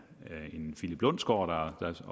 en philip lundsgaards